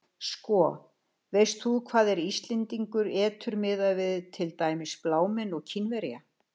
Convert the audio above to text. Sko, veist þú hvað hver Íslendingur étur miðað við til dæmis blámenn og Kínverja?